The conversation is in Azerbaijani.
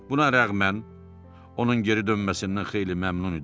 Buna rəğmən onun geri dönməsindən xeyli məmnun idim.